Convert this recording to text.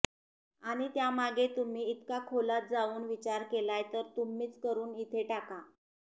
आणि त्यामागे तुम्ही इतका खोलात जाऊन विचार केलाय तर तुम्हीच करून इथे टाका